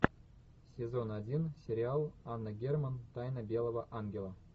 сезон один сериал анна герман тайна белого ангела